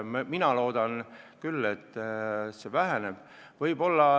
Mina loodan küll, et see väheneb.